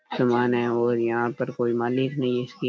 सामान है और यहाँ पर कोई मालिक नहीं है इसकी --